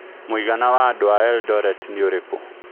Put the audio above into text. Mũigana wa andũ a Eldoret nĩ ũrikũ